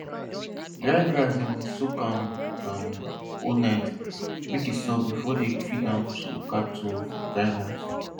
dry grass dem dey soak am um whole night make e soft before dem feed am to cattle for dry months